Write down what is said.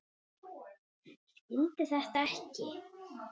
Skildi þetta ekki.